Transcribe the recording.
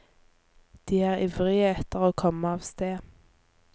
De er ivrige etter å komme av sted.